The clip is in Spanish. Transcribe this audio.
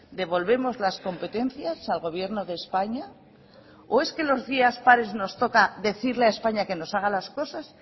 devolvemos las competencias al gobierno de españa o es que los días pares nos toca decirle a españa que nos haga las cosas